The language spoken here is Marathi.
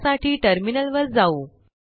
त्यासाठी टर्मिनलवर जाऊ